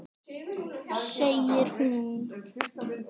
Segir hún.